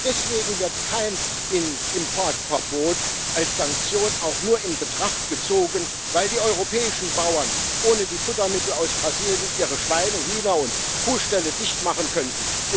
Aber deswegen wird kein Importverbot als Sanktion auch nur in Betracht gezogen, weil die europäischen Bauern ohne die Futtermittel aus Brasilien ihre Schweine Hühner und Kuhställe dicht machen könnten.